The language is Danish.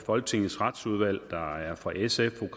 folketingets retsudvalg der er fra sf